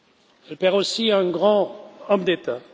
Elle perd aussi un grand homme d'État.